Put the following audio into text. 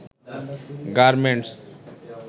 garments